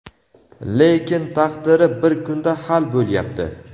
lekin taqdiri bir kunda hal bo‘lyapti.